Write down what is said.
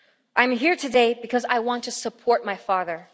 I'm here today because I want to support my father.